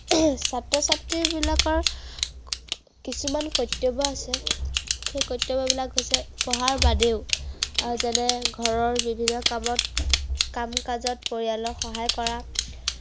ছাত্ৰ-ছাত্ৰী বিলাকৰ কিছুমান কৰ্তব্য় আছে। সেই কৰ্তব্য়বিলাক হৈছে, পঢ়াৰ বাদেও, যেনে ঘৰৰ বিভিন্ন কামত, কাম-কাজত পৰিয়ালক সহায় কৰা।